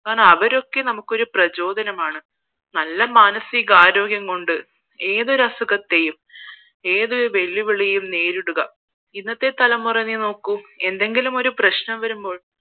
അവരൊക്കെ നമുക്ക് ഒരു പ്രജോദനമാണ് നല്ല മാനസികാരോഗ്യം കൊണ്ട് ഏതൊരു അസുഖത്തെയും ഏത് വെല്ലുവിളികളും നേരിടുക ഇന്നത്തെ തലമുറനെ നോക്കൂ എന്തെങ്കിലും ഒരു പ്രശ്നം വരുമ്പോൾ